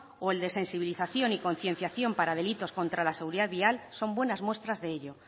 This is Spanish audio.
o el de sensibilización y concienciación para delitos para la seguridad vial son buenas muestras de ello